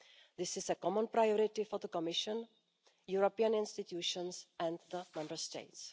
This is a common priority for the Commission, European institutions and the Member States.